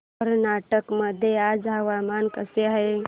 कर्नाटक मध्ये आज हवामान कसे आहे